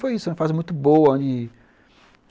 Foi uma fase muito boa.